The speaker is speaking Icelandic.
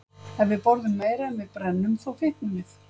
Ef við borðum meira en við brennum, þá fitnum við.